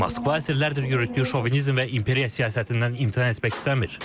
Moskva əsrlərdir yürütdüyü şovinizm və imperiya siyasətindən imtina etmək istəmir.